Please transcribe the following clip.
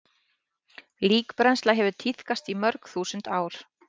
Líkbrennsla hefur tíðkast í mörg þúsund ár.